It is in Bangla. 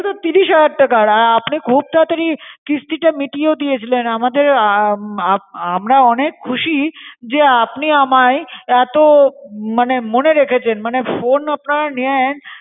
ও তো তিরিশ হাজার টাকার। আর আপনি খুব তাড়াতড়ি কিস্তিটা মিটিয়েও দিয়েছিলেন। আমাদের আমরা অনেক খুশি যে আপনি আমায় এত মানে মনে রেখেছেন। মানে phone আপনারা নেন